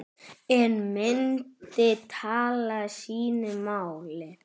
En myndin talar sínu máli.